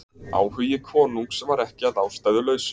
Áhugi konungs var ekki að ástæðulausu.